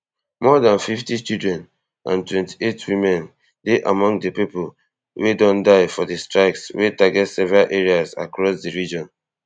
more dan fifty children and twenty-eight women dey among di pipo wey don die for di strikes wey target several areas across di region